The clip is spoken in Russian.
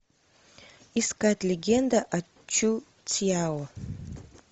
искать легенда о чу цяо